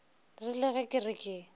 rile ge ke re ke